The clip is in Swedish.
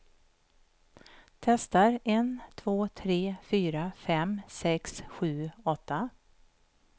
Testar en två tre fyra fem sex sju åtta.